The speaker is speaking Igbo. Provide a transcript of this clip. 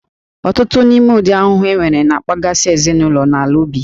Ọtụtụ n'ime ụdị ahụhụ enwere na-akpaghasị ezinụlọ na ala ubi